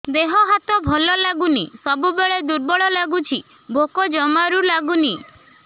ଦେହ ହାତ ଭଲ ଲାଗୁନି ସବୁବେଳେ ଦୁର୍ବଳ ଲାଗୁଛି ଭୋକ ଜମାରୁ ଲାଗୁନି